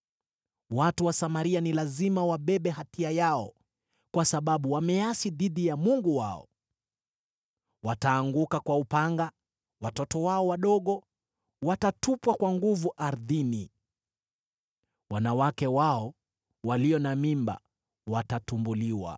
Watu wa Samaria ni lazima wabebe hatia yao, kwa sababu wameasi dhidi ya Mungu wao. Wataanguka kwa upanga; watoto wao wadogo watatupwa kwa nguvu ardhini, wanawake wao walio na mimba watatumbuliwa.”